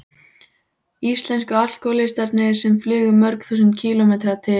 Íslensku alkohólistarnir sem flugu mörg þúsund kílómetra til